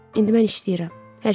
İndi mən işləyirəm.